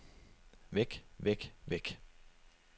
væk væk væk